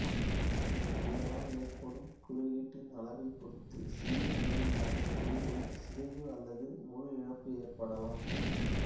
இதனால் ஏற்படும் குறுக்கீட்டின் அளவைப் பொறுத்து சிறிய அளவிலான குறிகை சிதைவு அல்லது முழு இழப்பு ஏற்படலாம்